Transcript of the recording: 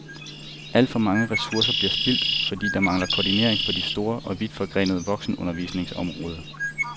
Alt for mange ressourcer bliver spildt, fordi der mangler koordinering på det store og vidtforgrenede voksenundervisningsområde.